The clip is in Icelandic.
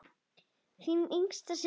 Þín yngsta systir, Eva María.